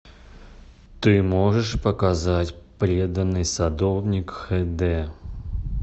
ты можешь показать преданный садовник хэ дэ